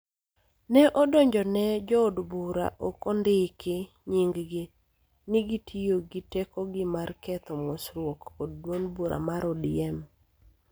ne odonjone jo od bura ma ok ondiki nyinggi ni gitiyo gi tekogi mar ketho �mosruoko� kod duond bura mar ODM.